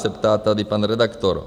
se ptá tady pan redaktor.